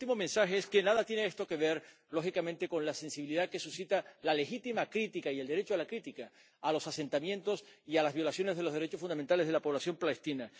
Y mi último mensaje es que nada tiene esto que ver, lógicamente, con la sensibilidad que suscita la legítima crítica y el derecho a la crítica a los asentamientos y a las violaciones de los derechos fundamentales de la población palestina.